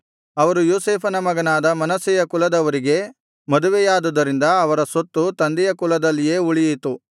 ಅವರು ಯೋಸೇಫನ ಮಗನಾದ ಮನಸ್ಸೆಯ ಕುಲದವರಿಗೇ ಮದುವೆಯಾದುದರಿಂದ ಅವರ ಸ್ವತ್ತು ತಂದೆಯ ಕುಲದಲ್ಲಿಯೇ ಉಳಿಯಿತು